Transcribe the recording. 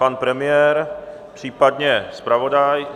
Pan premiér, případně zpravodaj?